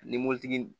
Ani mobilitigi